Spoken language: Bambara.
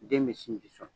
Den bɛ sinji sɔn